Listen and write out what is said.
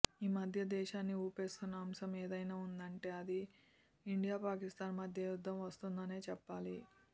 ఈ మధ్య దేశాన్ని ఊపేస్తున్నఅంశం ఏదైనా ఉందంటే అది ఇండియా పాకిస్తాన్ మధ్య యుద్ధం వస్తుందనే చెప్పాలి